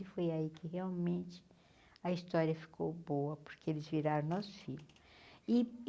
E foi aí que realmente a história ficou boa, porque eles viraram nossos filhos. E E